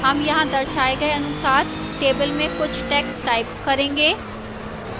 अब यहां दर्शाए गए अनुसार table में कुछ text type करें